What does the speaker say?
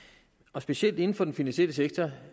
og specielt inden for den finansielle sektor